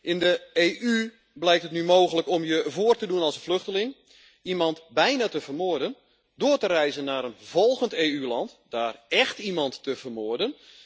In de EU blijkt het nu mogelijk om je voor te doen als vluchteling, iemand bijna te vermoorden, door te reizen naar een volgend EU land en daar écht iemand te vermoorden.